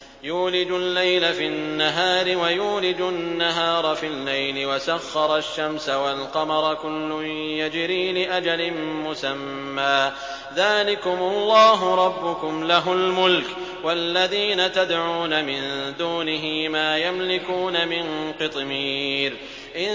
يُولِجُ اللَّيْلَ فِي النَّهَارِ وَيُولِجُ النَّهَارَ فِي اللَّيْلِ وَسَخَّرَ الشَّمْسَ وَالْقَمَرَ كُلٌّ يَجْرِي لِأَجَلٍ مُّسَمًّى ۚ ذَٰلِكُمُ اللَّهُ رَبُّكُمْ لَهُ الْمُلْكُ ۚ وَالَّذِينَ تَدْعُونَ مِن دُونِهِ مَا يَمْلِكُونَ مِن قِطْمِيرٍ